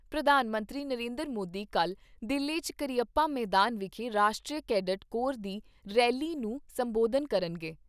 ਪ੍ਰਧਾਨ ਮੰਤਰੀ ਨਰਿੰਦਰ ਮੋਦੀ ਕੱਲ੍ਹ ਦਿੱਲੀ 'ਚ ਕਰੀਅੱਪਾ ਮੈਦਾਨ ਵਿਖੇ ਰਾਸ਼ਟਰੀ ਕੈਡਟ ਕੋਰ ਦੀ ਰੈਲੀ ਨੂੰ ਸੰਬੋਧਤ ਕਰਨਗੇ।